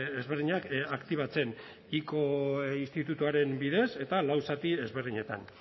ezberdinak aktibatzen ico institutuaren bidez eta lau zati ezberdinetan